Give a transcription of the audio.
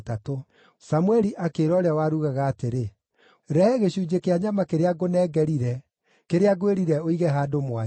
Samũeli akĩĩra ũrĩa warugaga atĩrĩ, “Rehe gĩcunjĩ kĩa nyama kĩrĩa ngũnengerire, kĩrĩa ngwĩrire ũige handũ mwanya.”